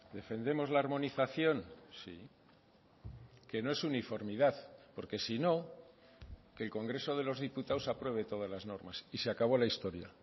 defendemos la armonización sí que no es uniformidad porque si no que el congreso de los diputados apruebe todas las normas y se acabó la historia